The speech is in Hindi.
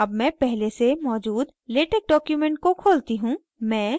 अब मैं पहले से मौजूद latex document को खोलती हूँ